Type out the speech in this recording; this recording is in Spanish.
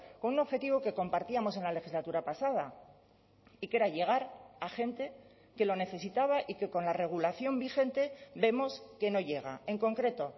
con un objetivo que compartíamos en la legislatura pasada y que era llegar a gente que lo necesitaba y que con la regulación vigente vemos que no llega en concreto